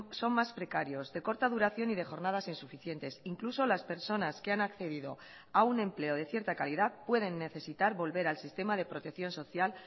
son más precarios de corta duración y de jornadas insuficientes incluso las personas que han accedido a un empleo de cierta calidad pueden necesitar volver al sistema de protección social